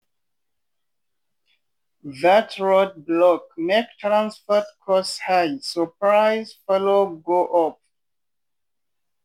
that roadblock make transport cost high so price follow go up.